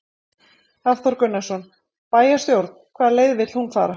Hafþór Gunnarsson: Bæjarstjórn, hvaða leið vill hún fara?